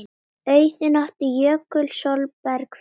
Auðunn átti Jökul Sólberg fyrir.